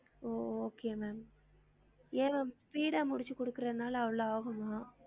ஓ okay ma'am ஏன் speed ஆ முடிச்சு குடுக்குரதுனால அவ்ளோ ஆகுமா